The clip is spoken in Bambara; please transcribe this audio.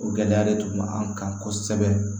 O gɛlɛya de tun bɛ an kan kosɛbɛ